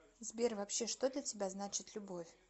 сбер вообще что для тебя значит любовь